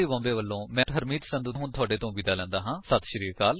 I I T Bombay ਵਲੋਂ ਮੈਂ ਹੁਣ ਤੁਹਾਡੇ ਤੋਂ ਵਿਦਾ ਲੈਂਦਾ ਹਾਂ